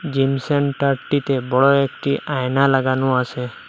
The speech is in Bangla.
জিম সেন্টার -টিতে বড়ো একটি আয়না লাগানো আছে।